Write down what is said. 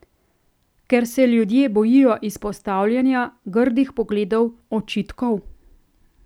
Ker se ljudje bojijo izpostavljanja, grdih pogledov, očitkov?